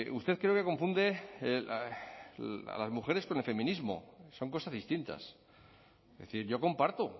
usted creo que confunde a las mujeres con el feminismo son cosas distintas es decir yo comparto